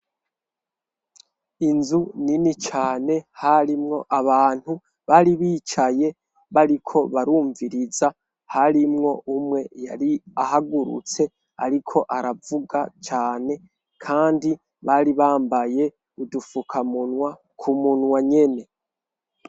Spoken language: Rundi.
Inzu nini cane harimwo abantu bari bicaye bariko barumviriza. Harimwo umwe yari ahagurutse ariko aravuga cane kandi bari bambaye udufukamunwa k'umunwa nyene.